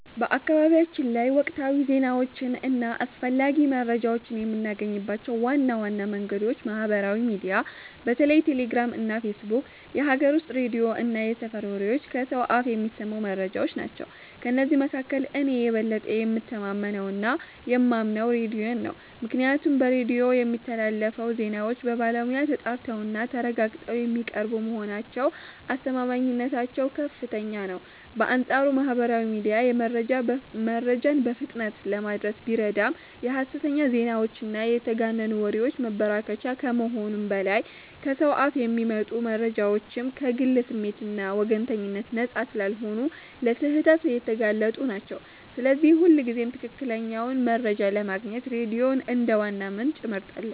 በአካባቢያችን ላይ ወቅታዊ ዜናዎችን እና አስፈላጊ መረጃዎችን የምናገኝባቸው ዋና ዋና መንገዶች ማህበራዊ ሚዲያ (በተለይ ቴሌግራም እና ፌስቡክ)፣ የሀገር ውስጥ ሬዲዮ እና የሰፈር ወሬዎች (ከሰው አፍ የሚሰሙ መረጃዎች) ናቸው። ከእነዚህ መካከል እኔ የበለጠ የምተማመነውና የማምነው ሬዲዮን ነው፤ ምክንያቱም በሬዲዮ የሚስተላለፉ ዜናዎች በባለሙያ ተጣርተውና ተረጋግጠው የሚቀርቡ በመሆናቸው አስተማማኝነታቸው ከፍተኛ ነው። በአንጻሩ ማህበራዊ ሚዲያ መረጃን በፍጥነት ለማድረስ ቢረዳም የሐሰተኛ ዜናዎችና የተጋነኑ ወሬዎች መበራከቻ ከመሆኑም በላይ፣ ከሰው አፍ የሚመጡ መረጃዎችም ከግል ስሜትና ወገንተኝነት ነፃ ስላልሆኑ ለስህተት የተጋለጡ ናቸው፤ ስለዚህ ሁልጊዜም ትክክለኛውን መረጃ ለማግኘት ሬዲዮን እንደ ዋና ምንጭ እመርጣለሁ።